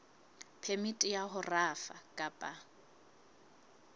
phemiti ya ho rafa kapa